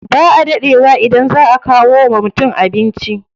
Ba a daɗe wa idan za a kawo wa mutum abinci.